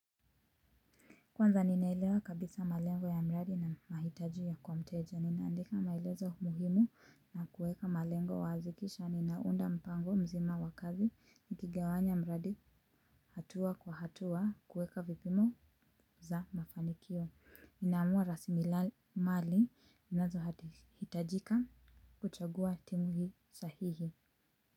Kwanza ninaelewa kabisa malengo ya mradi na mahitaji ya kwa mteja, ninaandika maelezo muhimu na kuweka malengo wazi kisha ninaunda mpango mzima wa kazi nikigawanya mradi hatua kwa hatua kuweka vipimo za mafanikio. Ninaamua rasilimali zinazohitajika kuchagua timu hii sahihi.